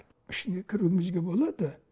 ішіне кіруімізге болады